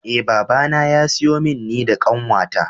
Eh babana ya siyo min ni da kanwata.